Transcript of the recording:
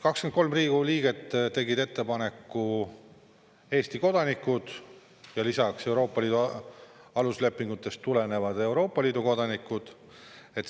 23 Riigikogu liiget tegid ettepaneku, Eesti kodanikud ja lisaks, Euroopa Liidu aluslepingutest tulenevalt, Euroopa Liidu kodanikud.